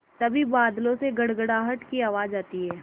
तभी बादलों से गड़गड़ाहट की आवाज़ आती है